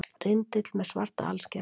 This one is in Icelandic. Rindill með svart alskegg.